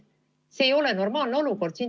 See ei ole normaalne olukord.